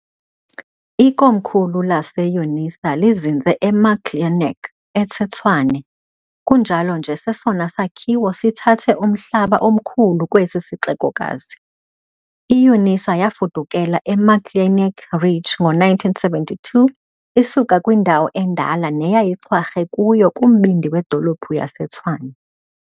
Ikomkhulu lase-unisa lizinze eMuckleneuk eseTshwane, kunjalo nje sesona sakhiwo sithathe umhlaba omkhulu kwesi sixekokazi. I-UNISA yafudukela eMuckleneuk Ridge ngo-1972 isuka kwindawo endala neyayixhwarhe kuyo kumbindi wedolophu yaseTshwane.